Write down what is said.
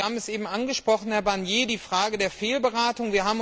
Sie haben es eben angesprochen, Herr Barnier die Frage der Fehlberatung.